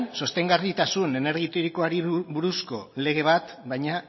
sostengarritasun energia iturrikoari buruzko lege bat baina